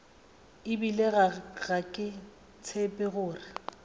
ebile ga ke tshepe gore